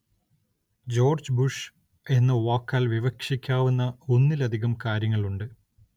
George Bush എന്ന വാക്കാല്‍ വിവക്ഷിക്കാവുന്ന ഒന്നിലധികം കാര്യങ്ങളുണ്ട്